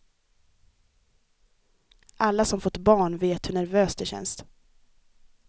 Alla som fått barn vet hur nervöst det känns.